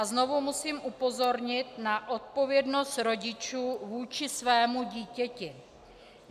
A znovu musím upozornit na odpovědnost rodičů vůči svému dítěti.